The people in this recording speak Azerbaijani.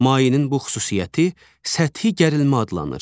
Mayenin bu xüsusiyyəti səthi gərilmə adlanır.